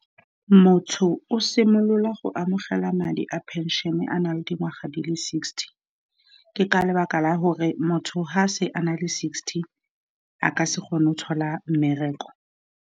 Motho o simolola go amogela madi a pension-ne a na le dingwaga di le sixty, ke ka lebaka la gore motho fa a se a na le sixty a ka se kgone o thola mmereko.